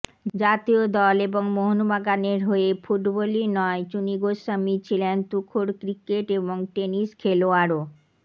জাতীয় দল এবং মোহনবাগানের হয়ে ফুটবলই নয় চুনী গোস্বামী ছিলেন তুখোড় ক্রিকেট এবং টেনিস খেলোয়াড়ও